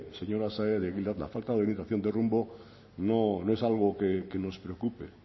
señora saez de egilaz la falta de orientación de rumbo no es algo que nos preocupe